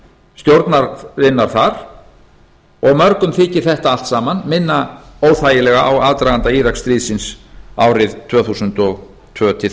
stjórnarinnar þar og mörgum þykir þetta allt saman minna óþægilega á aðdraganda íraksstríðsins árið tvö þúsund og tvö til tvö þúsund og